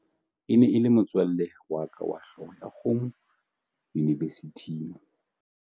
e ne e le motswalle wa ka wa hlooho ya kgomo yunivesithing